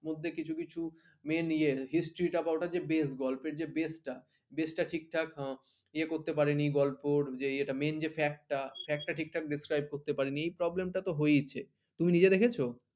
মধ্যে কিছু কিছু Main ইয়ের history টা base গল্পের যে base টা base টা ঠিকঠাক ইয়ে করতে পারেনি গল্পের যে ইয়েটা Main যে fact টা fact টা ঠিকঠাক describe করতে পারেনি এই problem টা তো হয়েছে তুমি নিজে দেখেছো?